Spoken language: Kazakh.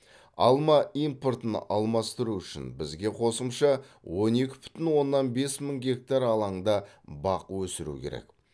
алма импортын алмастыру үшін бізге қосымша он екі бүтін оннан бес мың гектар алаңда бақ өсіру керек